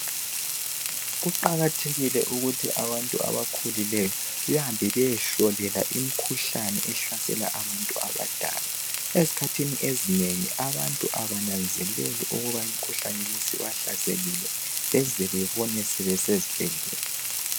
Kuqakathekile ukuthi abantu abakhulileyo bahambe bayehlolwa imikhuhlane ehlasela abantu abadala. Ezikhathini ezinengi abantu abananzeleli ukuthi limikhuhlane sibahlasele baze bazibone sebesezibhedlela.